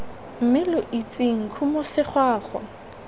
mme lo itseng khumo segwagwa